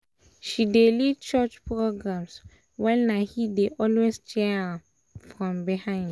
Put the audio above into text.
she dey lead church programs while na he dey always cheer for am from behind